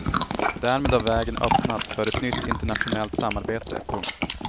Därmed har vägen öppnats för ett nytt internationellt samarbete. punkt